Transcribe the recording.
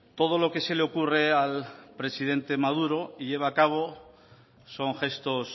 todo lo que se le ocurre al presidente maduro lleva a cabo son gestos